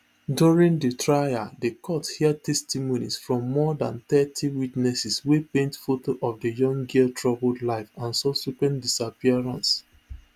during di trial di court hear testimonies from more dan thirty witnesses wey paint foto of di young girl troubled life and subsequent disappearance